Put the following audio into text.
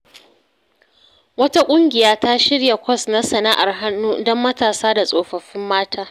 Wata ƙungiya ta shirya kwas na sana’ar hannu don matasa da tsofaffin mata.